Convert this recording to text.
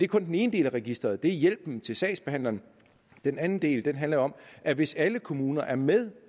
kun den ene del af registeret nemlig hjælpen til sagsbehandleren den anden del handler om at hvis alle kommuner er med